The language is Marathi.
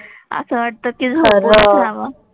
असं वाटतं कि झोपूनच राहावं.